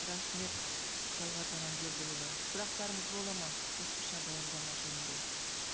рахмет талғат аманкелдіұлы сұрақтарыңыз болады ма қосымша баяндама жөнінде